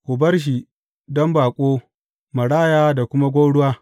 Ku bar shi don baƙo, maraya da kuma gwauruwa.